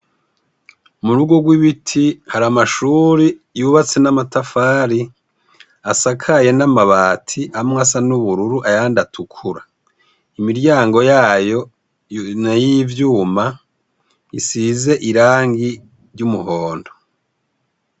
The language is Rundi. Murugo rw'ibiti har'amashuri yubatse n'amatafari, asakaye n'amabati ,amwe asa n'ubururu ayand'atukura. Imiryango yayo n'iyi vyuma isize irangi ry'umuhondo.